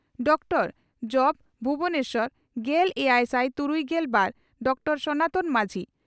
ᱩᱛᱠᱚᱲ ᱡᱹᱵᱹ ᱵᱷᱩᱵᱚᱱᱮᱥᱚᱨ᱾ᱜᱮᱞ ᱮᱭᱟᱭᱥᱟᱭ ᱛᱩᱨᱩᱭᱜᱮᱞ ᱵᱟᱨ ᱰᱚᱠᱴᱚᱨᱹ ᱥᱚᱱᱟᱛᱚᱱ ᱢᱟᱹᱡᱷᱤ